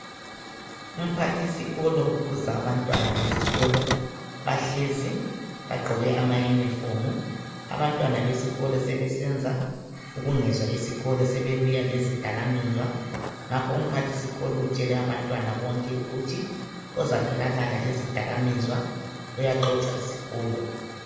Umphathisikolo ukhuza abantwana besikolo ,bahlezi bagqoke amayunifomu. Abantwana besikolo sebesenza ubungezwa esikolo sebebuya lezidakamizwa. Ngakho umphathisikolo utshele abantwana bonke ukuthi ozatholakala lezidakamizwa uyaxotshwa isikolo.